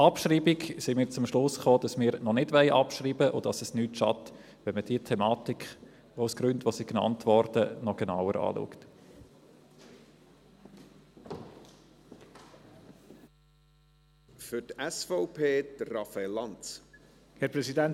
Betreffend die Abschreibung sind wir zum Schluss gekommen, dass wir noch nicht abschreiben wollen und dass es nicht schadet, wenn man diese Thematik aus den Gründen, die genannt wurden, noch genauer anschaut.